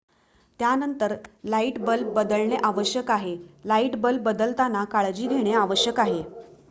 त्यानंतर light bulb बदलणे आवश्यक आहे लाइट बल्ब बदलताना काळजी घेणे आवश्यक आहे